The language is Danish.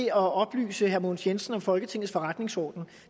at oplyse herre mogens jensen om folketingets forretningsorden